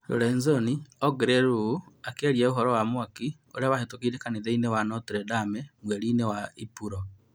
Lorenzoni ongereire ũũ akĩaria ũhoro wa mwaki ũrĩa wahĩtũkire kanitha-inĩ wa Notre-Dame mweri-inĩ wa Ĩpuro.